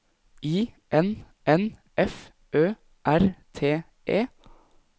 I N N F Ø R T E